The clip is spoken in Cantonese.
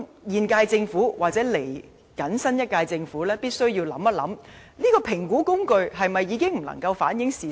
現屆政府及新一屆政府必須細想，這評估工具是否已經不能反映事實？